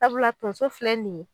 Sabula tonso filɛ nin ye